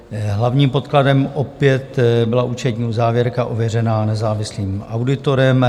Hlavním podkladem opět byla účetní uzávěrka ověřená nezávislým auditorem.